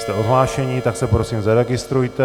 Jste odhlášeni, tak se prosím zaregistrujte.